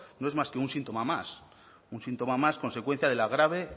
no es más que un síntoma más un síntoma más consecuencia de la grave